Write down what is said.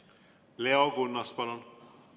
Leo Kunnas, palun!